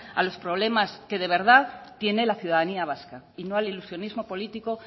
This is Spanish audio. a los problemas que de verdad tiene la ciudadanía vasca y no al ilusionismo político